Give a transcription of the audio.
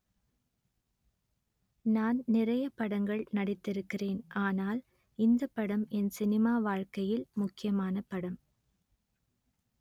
நான் நிறைய படங்கள் நடித்திருக்கிறேன் ஆனால் இந்த படம் என் சினிமா வாழ்க்கையில் முக்கியமான படம்